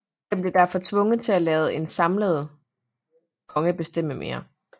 Den blev derfor tvunget til at lade en samlende konge bestemme mere